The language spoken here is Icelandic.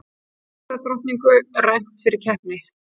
Fegurðardrottningu rænt fyrir keppni